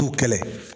T'u kɛlɛ